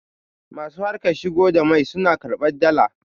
masu harkar shigo da mai suna karbar Dala